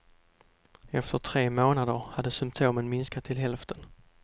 Efter tre månader hade symtomen minskat till hälften.